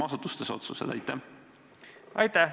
Aitäh!